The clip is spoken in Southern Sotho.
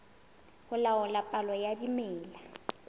ho laola palo ya dimela